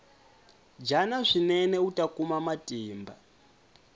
dyana swinene uta kuma matimba